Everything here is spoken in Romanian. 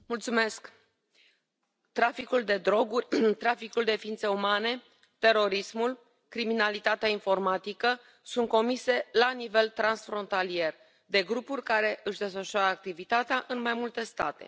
Doamna președintă, traficul de droguri, traficul de ființe umane, terorismul, criminalitatea informatică sunt comise la nivel transfrontalier de grupuri care își desfășoară activitatea în mai multe state.